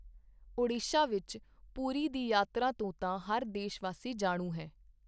ਓਡੀਸ਼ਾ ਵਿੱਚ ਪੁਰੀ ਦੀ ਯਾਤਰਾ ਤੋਂ ਤਾਂ ਹਰ ਦੇਸ਼ਵਾਸੀ ਜਾਣੂ ਹੈ।